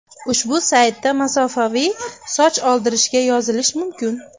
Ushbu saytda masofaviy soch oldirishga yozilish mumkin.